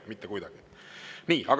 Mitte kuidagi!